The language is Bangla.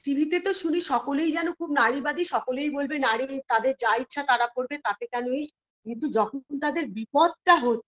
tv -তেতো শুনি সকলেই যেন খুব নারীবাদী সকলেই বলবে নারী তাদের যা ইচ্ছা তারা করবে তাতে কেন এই কিন্তু যখন তাদের বিপদটা হচ্ছে